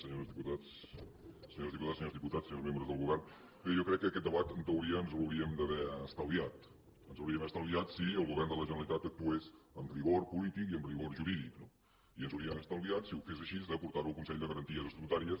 senyores diputades senyors diputats senyors membres del govern bé jo crec que aquest debat en teoria ens l’hauríem d’haver estalviat ens l’hauríem d’haver estalviat si el govern de la generalitat actués amb rigor polític i amb rigor jurídic no i ens hauríem estalviat si ho fes així de portar ho al consell de garanties estatutàries